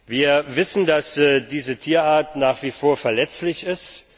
Wir wissen, dass diese Tierart nach wie vor verletzlich ist.